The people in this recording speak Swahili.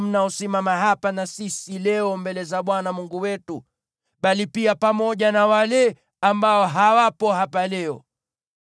mnaosimama hapa na sisi leo mbele za Bwana Mungu wetu, bali pia pamoja na wale ambao hawapo hapa leo.